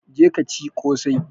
Je ka ci ƙosai!